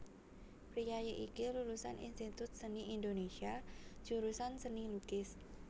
Priyayi iki lulusan Institut Seni Indonésia jurusan Seni Lukis